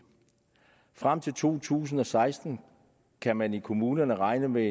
frem til to tusind og seksten kan man i kommunerne regne med